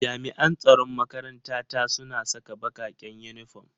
Jami'an tsaron makaranta ta suna saka bakaken uniform.